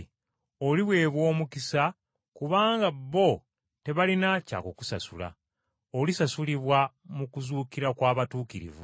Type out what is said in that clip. Oliweebwa omukisa kubanga bo tebalina kya kukusasula. Olisasulibwa mu kuzuukira kw’Abatuukirivu.”